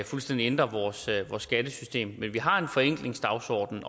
fuldstændig ændrer vores skattesystem men vi har en forenklingsdagsordenen